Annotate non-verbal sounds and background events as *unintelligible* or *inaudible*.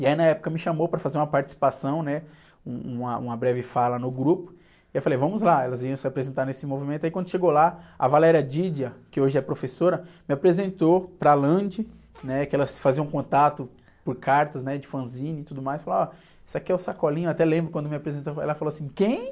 E aí na época me chamou para fazer uma participação, né? Um, uma, uma breve fala no grupo, e eu falei, vamos lá, elas iam se apresentar nesse movimento, e quando chegou lá, a, *unintelligible* que hoje é professora, me apresentou para a, *unintelligible* né? Porque elas faziam contato por cartas, né? De fanzine e tudo mais, e falou, ó, esse aqui é o Sacolinha, até lembro quando me apresentou, ela falou assim, quem?